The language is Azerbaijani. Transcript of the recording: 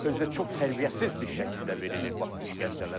Özü də çox tərbiyəsiz bir şəkildə verilir bax bu işgəncələr.